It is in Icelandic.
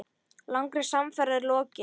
Langri samferð er lokið.